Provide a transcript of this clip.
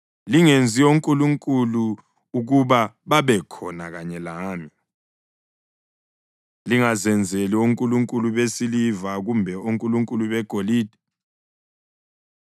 Lingenzi onkulunkulu ukuba babekhona kanye lami; lingazenzeli onkulunkulu besiliva kumbe onkulunkulu begolide.